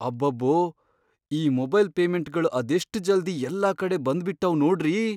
ಅಬ್ಬಬ್ಬೋ! ಈ ಮೊಬೈಲ್ ಪೇಮೆಂಟ್ಗಳ್ ಅದೆಷ್ಟ್ ಜಲ್ದಿ ಯೆಲ್ಲಾ ಕಡೆ ಬಂದ್ಬಿಟಾವ್ ನೋಡ್ರಿ.